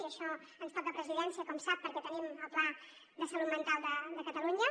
i això ens toca a presidència com sap perquè tenim el pla de salut mental de catalunya